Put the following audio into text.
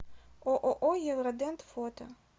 ооо евродент фото